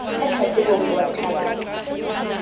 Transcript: ka hlahlobong o a thalatsa